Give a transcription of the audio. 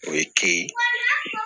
O ye ke